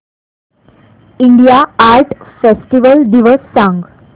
India art festival दिवस सांग